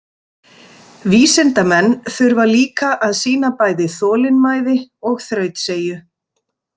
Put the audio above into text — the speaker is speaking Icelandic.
Vísindamenn þurfa líka að sýna bæði þolinmæði og þrautseigju.